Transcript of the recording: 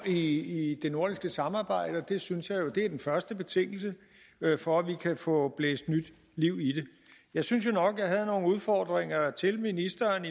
i det nordiske samarbejde jeg synes jo det er den første betingelse for at vi kan få blæst nyt liv i det jeg synes jo nok jeg havde nogle udfordringer til ministeren